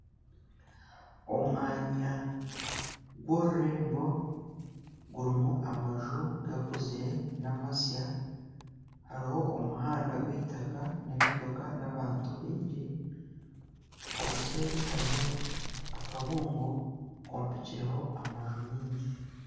Omwanya gw'orurembo gurimu amaju gakuzire nana amasya ,hariho omuhanda gw'eitaka n'emotoka n'abantu baingi obuseeri hariho akabuungo kombekirweho amaju maingi .